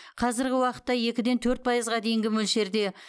қазіргі уақытта екіден төрт пайызға дейінгі мөлшерде